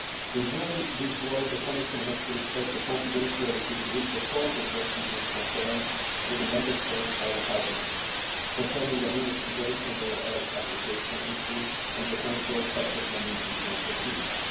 for us. In doing this work, the Commission has to respect the confidentiality to which the Court of Justice has confirmed that the Member States are entitled concerning the investigation of alleged application issues and potential infringement